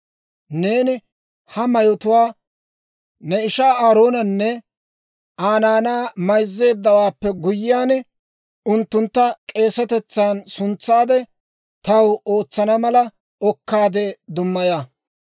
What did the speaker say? Neeni ha mayotuwaa ne ishaa Aaroonanne Aa naanaa mayzzeeddawaappe guyyiyaan, unttuntta k'eesetetsan suntsaade taw ootsana mala okkaadde dummaya.